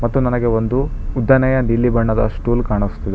ಮತ್ತು ನನಗೆ ಒಂದು ಉದ್ದನೆಯ ನೀಲಿ ಬಣ್ಣದ ಸ್ಟೂಲ್ ಕಾಣುಸ್ತಿದೆ --